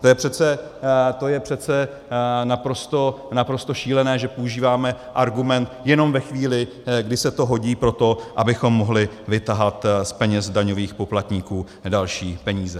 To je přece naprosto šílené, že používáme argument jenom ve chvíli, kdy se to hodí pro to, abychom mohli vytahat z kapes daňových poplatníků další peníze.